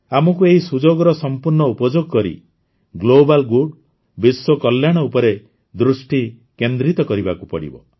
ଆମକୁ ଏହି ସୁଯୋଗର ସମ୍ପୂର୍ଣ୍ଣ ଉପଯୋଗ କରି ଗ୍ଲୋବାଲ୍ ଗୁଡ୍ ବିଶ୍ୱକଲ୍ୟାଣ ଉପରେ ଦୃଷ୍ଟି କେନ୍ଦ୍ରିତ କରିବାକୁ ପଡ଼ିବ